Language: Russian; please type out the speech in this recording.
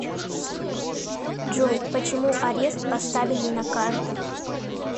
джой почему арест поставили на карту